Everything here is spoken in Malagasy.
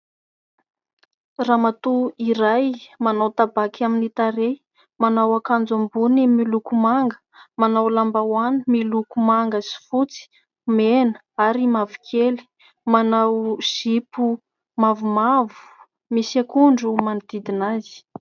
Ramatoa iray manao tabaky amin'ny tarehy ; manao akanjo ambony miloko manga, manao lambahoany miloko manga sy fotsy, mena ary mavokely ; manao zipo mavomavo misy akondro manodidina azy.